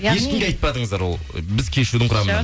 ешкімге айтпадыңыздар ол біз кешьюдың құрамында жоқ